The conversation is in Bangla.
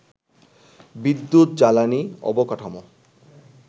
বিদ্যুৎ, জ্বালানি, অবকাঠামো